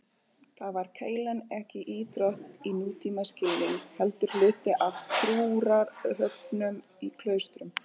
Þar var keilan ekki íþrótt í nútímaskilningi heldur hluti af trúarathöfnum í klaustrum.